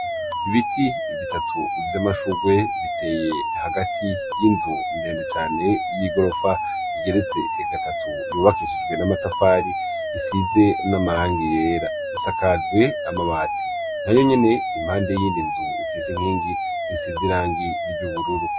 Ibiti bitatu vy'amashugwe biteye hagati y'inzu ndendecane y'igorofa igeretse egatatu yubakishijwe n'amatafari isize n'amaranga yera isakajwe amabati na yo nyene impande yindi nzu ifise inkingi zisize irangi ry'ubururu.